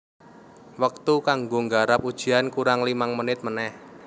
Wektu kanggo nggarap ujian kurang limang menit meneh